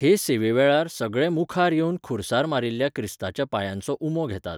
हे सेवे वेळार, सगळे मुखार येवन खुरसार मारिल्ल्या क्रिस्ताच्या पांयांचो उमो घेतात.